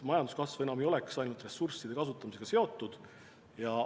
Majanduskasv ei oleks siis ainult ressursside kasutamisega seotud.